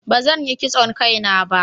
ba zan Yi kitson Kai na ba